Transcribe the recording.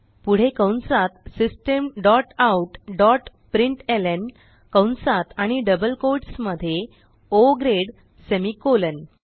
पुढे कंसात system dot out dot प्रिंटलं कंसात आणि डबल कोट्स मध्ये ओ ग्रेड सेमिकोलॉन